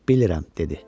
Bilirəm, - dedi.